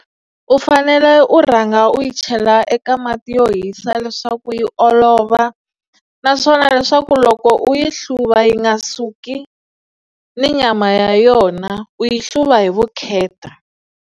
U fanele u rhanga u yi chela eka mati yo hisa leswaku yi olova naswona leswaku loko u yi hluva yi nga suki ni nyama ya yona u yi hluva hi vukheta.